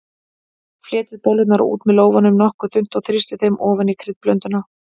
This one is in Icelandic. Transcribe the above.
Fletjið bollurnar út með lófanum nokkuð þunnt og þrýstið þeim ofan í kryddblönduna.